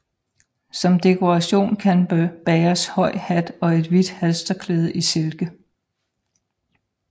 Som dekoration kan bæres høj hat og et hvidt halstørklæde i silke